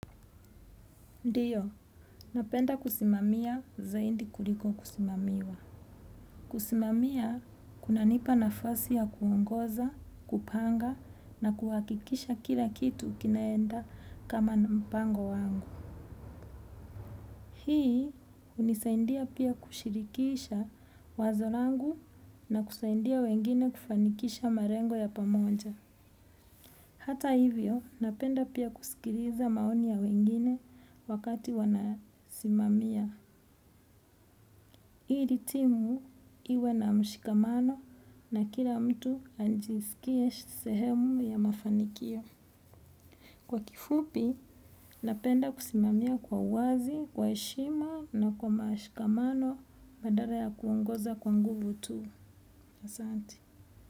Ndio, napenda kusimamia zaidi kuliko kusimamiwa. Kusimamia, kunanipa nafasi ya kuongoza, kupanga, na kuhakikisha kila kitu kinaenda kama mpango wangu. Hii, hunisaidia pia kushirikisha wazo langu na kusaidia wengine kufanikisha malengo ya pamoja. Hata hivyo, napenda pia kusikiliza maoni ya wengine wakati wanasimamia. Ili timu iwe na mshikamano na kila mtu ajisikie sehemu ya mafanikio. Kwa kifupi, napenda kusimamia kwa uwazi, kwa heshima na kwa mashikamano badala ya kuongoza kwa nguvu tu. Asanti.